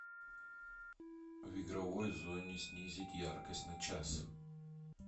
в игровой зоне снизить яркость на час